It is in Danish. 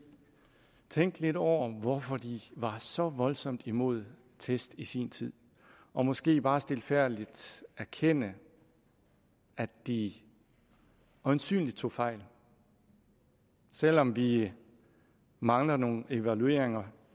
tænke lidt over hvorfor de var så voldsomt imod test i sin tid og måske bare stilfærdigt erkende at de øjensynligt tog fejl selv om vi mangler nogle evalueringer